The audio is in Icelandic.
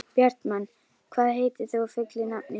Bjartmann, hvað heitir þú fullu nafni?